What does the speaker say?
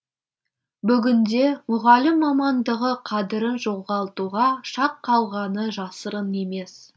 бүгінде мұғалім мамандығы қадірін жоғалтуға шақ қалғаны жасырын емес